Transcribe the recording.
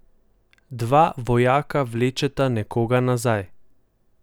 Dva vojaka vlečeta nekoga nazaj.